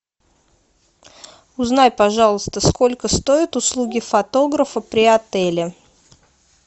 узнай пожалуйста сколько стоят услуги фотографа при отеле